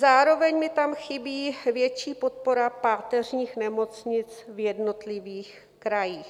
Zároveň mi tam chybí větší podpora páteřních nemocnic v jednotlivých krajích.